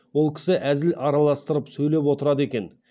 ол кісі әзіл араластырып сөйлеп отырады екен